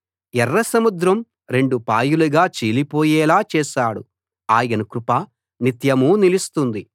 ఎర్రసముద్రం రెండు పాయలుగా చీలిపోయేలా చేశాడు ఆయన కృప నిత్యమూ నిలుస్తుంది